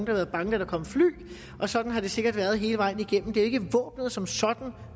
har været bange da der kom fly og sådan har det sikkert været hele vejen igennem det er ikke våbenet som sådan der